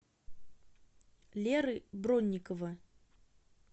леры бронникова